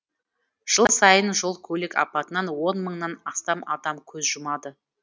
жыл сайын жол көлік апатынан он мыңнан астам адам көз жұмады